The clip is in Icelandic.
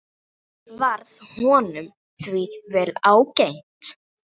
Varð honum því vel ágengt.